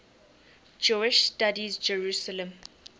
jewish studies jerusalem